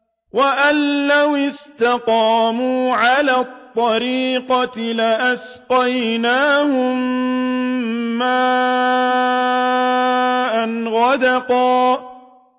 وَأَن لَّوِ اسْتَقَامُوا عَلَى الطَّرِيقَةِ لَأَسْقَيْنَاهُم مَّاءً غَدَقًا